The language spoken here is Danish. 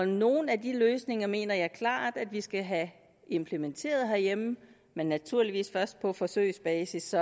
nogle af de løsninger mener jeg klart at vi skal have implementeret herhjemme men naturligvis først på forsøgsbasis så